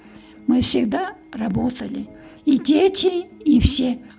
мы всегда работали и дети и все